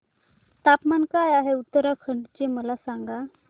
तापमान काय आहे उत्तराखंड चे मला सांगा